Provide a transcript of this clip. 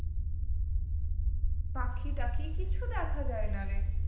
পাখি টাখি কিছু দেখা যায় না রে